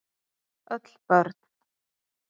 Öll börn